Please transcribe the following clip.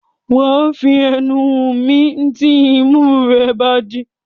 Wà á fi ẹnu mí tí imú rẹ̀ bá ti dí.